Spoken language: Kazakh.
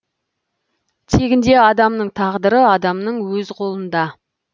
тегінде адамның тағдыры адамның өз қолында